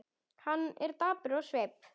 Hann er dapur á svip.